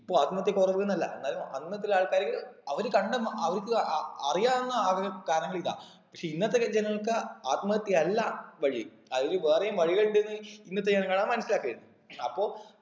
ഇപ്പൊ ആത്മഹത്യ കുറവ്ന്നല്ല എന്നാലും അന്ന് അത്ര ആൾക്കാര് അവര് കണ്ട ഉം അവർക്ക് അഹ് അറിയാവുന്ന ആക കാരണങ്ങൾ ഇതാ പക്ഷെ ഇന്നത്തെ ജ ജനങ്ങൾക്ക് ആത്മഹത്യ അല്ല വഴി അതിനും വേറെയും വഴികൾ ഉണ്ടെന്ന് ഇന്നത്തെ ജനങ്ങളത് മനസ്സിലാക്കിയത് അപ്പൊ